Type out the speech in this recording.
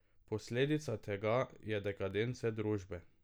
Posledica tega je dekadenca družbe.